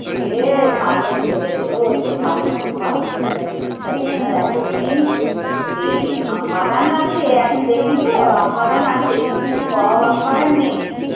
সে ভালো দিন গেছে গো সে ভালো খুব ভালো দিন গেছে সেসব দিন আর এখন নেই, সেই আম বাগান আছে এখন দেখি তো আম বাগান আছে কিন্তু সব আম বাগান নেই।